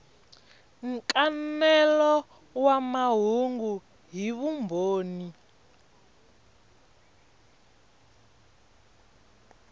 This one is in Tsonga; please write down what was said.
nkanelo wa mahungu hi vumbhoni